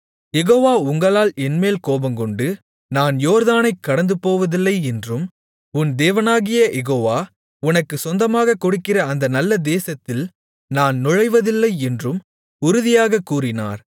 யெகோவா உங்களால் என்மேல் கோபங்கொண்டு நான் யோர்தானைக் கடந்துபோவதில்லை என்றும் உன் தேவனாகிய யெகோவா உனக்குச் சொந்தமாகக் கொடுக்கிற அந்த நல்ல தேசத்தில் நான் நுழைவதில்லை என்றும் உறுதியாகக் கூறினார்